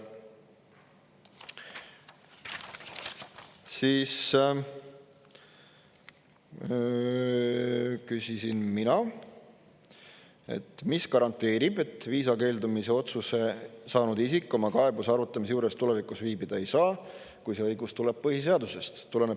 Siis küsisin mina, mis garanteerib, et viisa keeldumise otsuse saanud isik oma kaebuse arutamise juures tulevikus viibida ei saa, kui see õigus tuleneb põhiseadusest.